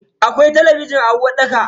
Akwai talabijin a uwarɗaka.